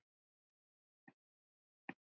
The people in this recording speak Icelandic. Jóna Maja, Hildur og Þórunn.